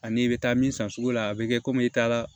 Ani i bɛ taa min san sugu la a bɛ kɛ komi i taara